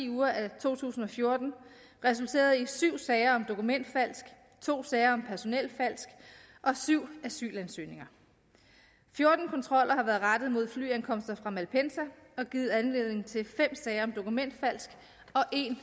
uger af to tusind og fjorten resulterede i syv sager om dokumentfalsk to sager om personelfalsk og syv asylansøgninger fjorten kontroller har været rettet mod flyankomster fra malpensa og givet anledning til fem sager om dokumentfalsk og en